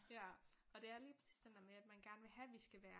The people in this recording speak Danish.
Ja og det er lige præcis den der med at man gerne vil have at vi skal være